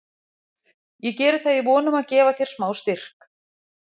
Ég geri það í von um að gefa þér smá styrk.